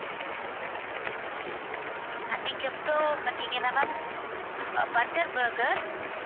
அதுக்கப்புறம் பாத்தீங்கன்னா ma'am butter burger